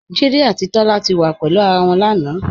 Jídé àti Tólá ti wá pẹ̀lú ará wọn lánà.